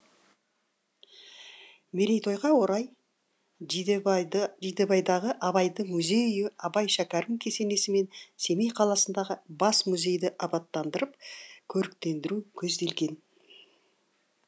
мерейтойға орай жидебайдағы абайдың музей үйі абай шәкірім кесенесі мен семей қаласындағы бас музейді абаттандырып көріктендіру көзделген